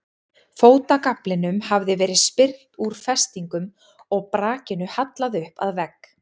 Fótagaflinum hafði verið spyrnt úr festingum og brakinu hallað upp að vegg.